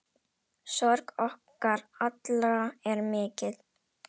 Sorg okkar allra er mikil.